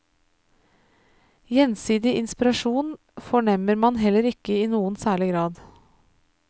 Gjensidig inspirasjon fornemmer man heller ikke i noen særlig grad.